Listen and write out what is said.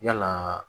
Yalaa